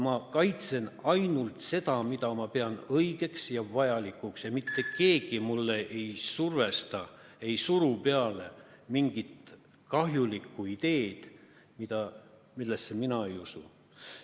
Ma kaitsen ainult seda, mida ma pean õigeks ja vajalikuks, ja mitte keegi mind ei survesta ega suru mulle peale mingit kahjulikku ideed, millesse mina ei usu.